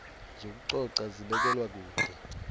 zokucoca zibekelwa kude